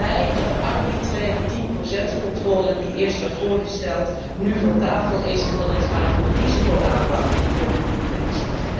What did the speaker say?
Ik ben blij dat de arbitraire 10 controle die eerst werd voorgesteld, nu van tafel is en dat het gaat om een risicoaanpak in de compromistekst.